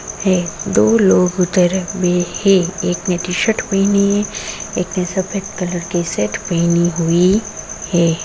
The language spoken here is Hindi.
है दो लोग एक ने टी शर्ट पहनी है। एक ने सफ़ेद कलर की शर्ट पहनी हुई है |